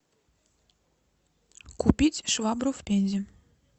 купить швабру в пензе